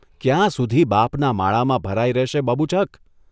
ક્યાં સુધી બાપના માળામાં ભરાઇ રહેશે બબૂચક?